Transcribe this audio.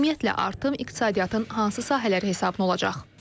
Ümumiyyətlə artım iqtisadiyyatın hansı sahələr hesabına olacaq?